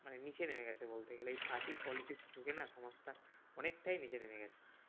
মানে নিচে নেমে গেছে বলতে গেলে এই party politics ঢুকে না সমাজ টা অনেকটাই নিচে নেমে গেছে।